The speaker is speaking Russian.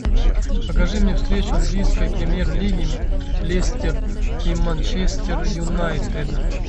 покажи мне встречу английской премьер лиги лестер и манчестер юнайтед